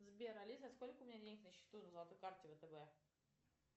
сбер алиса сколько у меня денег на счету на золотой карте втб